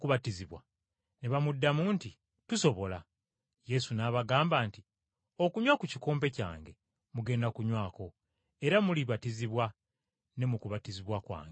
Ne bamuddamu nti, “Tusobola.” Yesu n’abagamba nti, “Okunywa ku kikompe kyange mugenda kukinywako era mulibatizibwa ne mu kubatizibwa kwange.